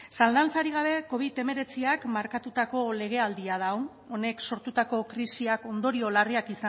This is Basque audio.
zalantzarik gabe covid hemeretziak markatutako legealdia da hau honek sortutako krisiak ondorio larriak